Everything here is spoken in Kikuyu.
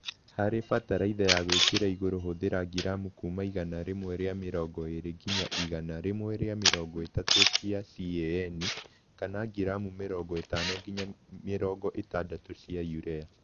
Harĩ bataraitha ya gwĩkĩra igũrũ hũthira ngiramu kuma igana rĩmwe rĩa mĩrongo ĩrĩ nginya igana rĩmwe rĩa mĩrongo ĩtatũ cia CAN kana ngiramu mĩrongo ĩtano nginya mĩrongo ĩtandatũ cia Urea